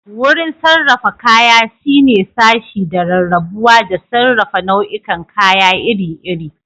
Wurin sarrafa kaya shine sashe da rarrabuwa da sarrafa nau'ikan kaya iri-iri.